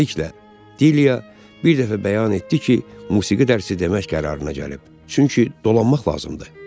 Beləliklə, Dilia bir dəfə bəyan etdi ki, musiqi dərsi demək qərarına gəlib, çünki dolanmaq lazımdır.